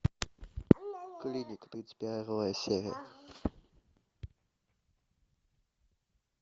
клиника тридцать первая серия